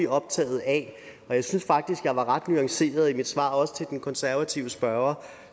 optaget af og jeg synes faktisk jeg var ret nuanceret i mit svar også til den konservative spørger